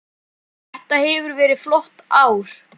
Þetta hefur verið flott ár.